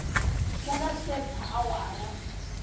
ku nga se ba awara